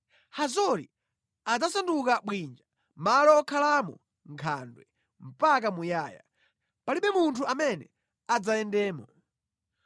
“Hazori adzasanduka bwinja, malo okhalamo nkhandwe mpaka muyaya. Palibe munthu amene adzayendemo.”